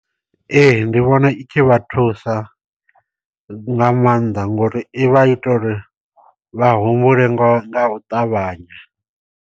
Ee ndi vhona i khi vha thusa nga maanḓa ngori i vha i ita uri vha humbule ngo nga u ṱavhanya.